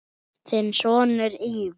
Þinn sonur, Ívar.